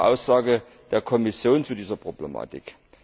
eine klare Aussage der Kommission zu dieser Problematik.